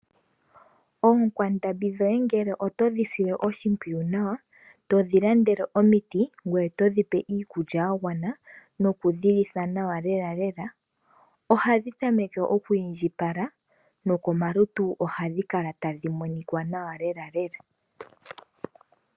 Oonkwandambi dhoye ngele oto dhi sile oshimpwiyu nawa, to dhi landele omiti, ngweye to dhi pe iikulya ya gwana noku dhi litha nawa lelale, oha dhi tameke okwiindjipala nokomalutu oha dhi kala ta dhi monika nawa lelalela.